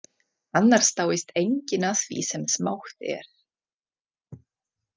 Annars dáist enginn að því sem smátt er.